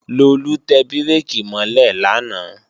Lolú tẹ bírèkì mọ́ lẹ̀ lánàá